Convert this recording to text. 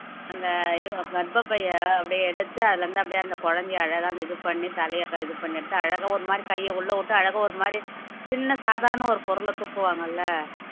அந்த ஐயோ கர்ப்பப்பையை அப்படியே எடுத்து அதுல இருந்து அப்படியே அந்த குழந்தையை அழகா இது பண்ணி தலையை இது பண்ணி அழகா ஒரு மாதிரி கைய உள்ள விட்டு அழகா ஒரு மாதிரி சின்ன சாதாரண ஒரு பொருள தூக்குவாங்கள்ல